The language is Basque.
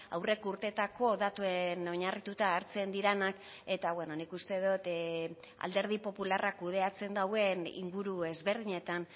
aurreko urtetako datuen oinarrituta hartzen direnak eta beno nik uste dut alderdi popularrak kudeatzen duen inguru ezberdinetan